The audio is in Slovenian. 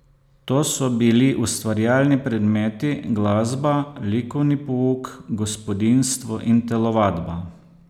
To so bili ustvarjalni predmeti, glasba, likovni pouk, gospodinjstvo in telovadba.